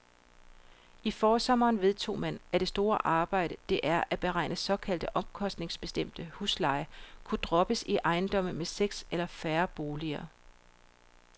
I forsommeren vedtog man, at det store arbejde, det er at beregne såkaldt omkostningsbestemt husleje, kunne droppes i ejendomme med seks eller færre boliger.